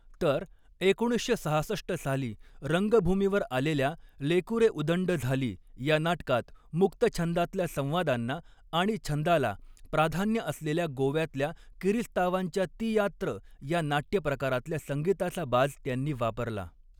तर एकोणीसशे सहासष्ट साली रंगभूमीवर आलेल्या लेकुरे उदंड झाली या नाटकात मुक्तछंदातल्या संवादांना आणि छंदाला प्राधान्य असलेल्या गोव्यातल्या किरिस्तावांच्या तियात्र या नाट्यप्रकारातल्या संगीताचा बाज त्यांनी वापरला.